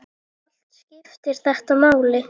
Allt skiptir þetta máli.